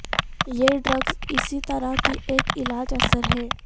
یہ ڈرگز اسی طرح کی ایک علاج اثر ہے